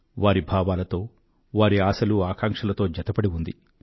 వారి భావాలతో వారి ఆశలూఆకాంక్షలతో జతపడి ఉంది